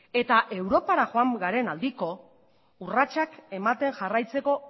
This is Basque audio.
eta europara joan garen aldiko urratsak ematen jarraitzeko